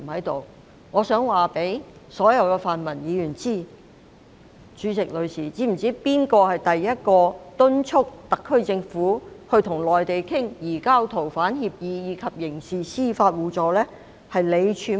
代理主席，我想問所有泛民議員，他們是否知悉第一個敦促特區政府跟內地商討移交逃犯協議及刑事司法互助的人是誰呢？